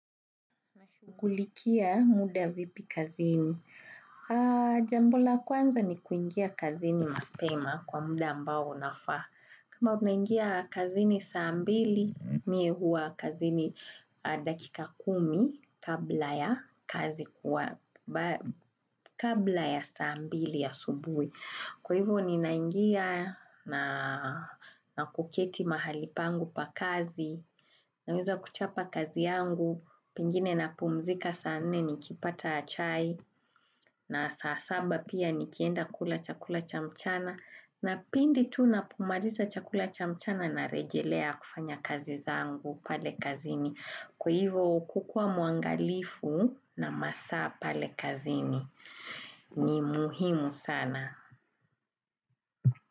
Na shugulikia muda vipi kazini. Jambo la kwanza ni kuingia kazini mapema kwa muda ambao unafaa. Kama unaingia kazini saa mbili, mie huwa kazini dakika kumi kabla ya saa mbili asubui. Kwa hivyo ni naingia na kuketi mahali pangu pa kazi, naweza kuchapa kazi yangu, pengine na pumzika saa nne ni kipata chai na saa saba pia ni kienda kula chakula cha mchana na pindi tu na pomaliza chakula cha mchana na rejelea kufanya kazi zangu pale kazini. Kwa hivyo kukuwa mwangalifu na masaa pale kazini ni muhimu sana.